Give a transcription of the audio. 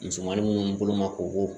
Musomannin minnu bolo ma kɔbɔ